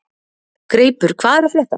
Greipur, hvað er að frétta?